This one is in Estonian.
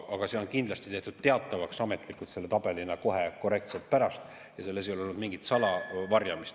Aga see on kindlasti tehtud teatavaks ametlikult, tabelina, korrektselt kohe pärast ja ei ole olnud mingit varjamist.